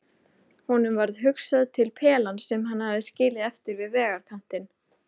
Honum varð hugsað til pelans sem hann hafði skilið eftir við vegarkantinn.